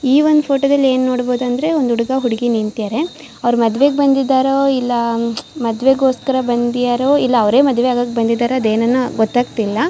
ಈ ಒಂದು ಫೋಟೋ ದಲ್ಲಿ ಏನು ನೋಡಬಹುದು ಅಂದ್ರೆ ಒಂದು ಹುಡುಗ ಹುಡುಗಿ ನಿಂತಿದ್ದಾರೆ ಅವರು ಮದುವೆಗೆ ಬಂದಿದ್ದಾರೋ ಇಲ್ಲ ಮದುವೆಗೋಸ್ಕರ ಬಂದಿದ್ದಾರೋ ಇಲ್ಲ ಅವರೇ ಮದುವೆಯಾಗಕೆ ಬಂದಿದ್ದಾರೋ ಅದು ಏನೋ ಗೊತ್ತಾಗ್ತಾ ಇಲ್ಲ.